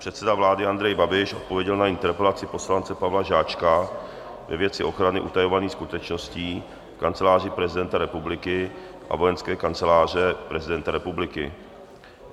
Předseda vlády Andrej Babiš odpověděl na interpelaci poslance Pavla Žáčka ve věci ochrany utajovaných skutečností Kanceláře prezidenta republiky a Vojenské kanceláře prezidenta republiky.